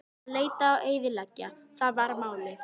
Að leita og eyðileggja: það var málið.